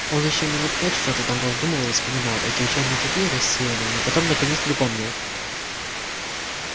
он ещё минут пять что-то там раздумывал и вспоминал эти учёные такие рассеянные но потом наконец припомнил